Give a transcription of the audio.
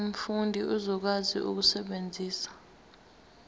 umfundi uzokwazi ukusebenzisa